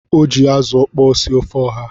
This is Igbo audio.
O ji azu okpo sie ofe oha.